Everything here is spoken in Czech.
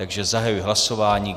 Takže zahajuji hlasování.